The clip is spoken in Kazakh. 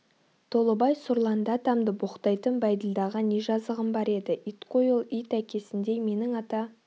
толыбай сұрланды атамды боқтайтын бәйділдаға не жазығым бар еді ит қой ол ит әкесіндей менің ата